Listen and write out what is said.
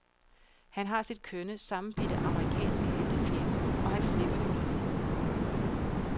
Han har sit kønne, sammenbidte amerikanske heltefjæs, og han slipper det nødigt.